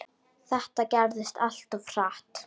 Þetta gerðist allt of hratt.